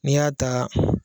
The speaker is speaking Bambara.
N'i y'a ta